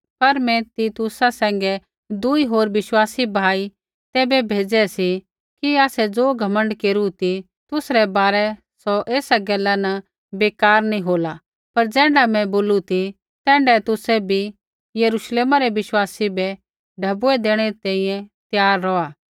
पर मैं तीतुस सैंघै दुई होर विश्वासी भाई तैबै भेजी रै सी कि आसै ज़ो घमण्ड केरू ती तुसरै बारै सौ ऐसा गैला न बेकार नी होला पर ज़ैण्ढा मैं बोलू ती तैण्ढै ही तुसै बी यरुश्लेमा रै विश्वासी बै ढैबुऐ देणै री तैंईंयैं त्यार रौहा